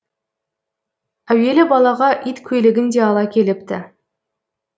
әуелі балаға иткөйлегін де ала келіпті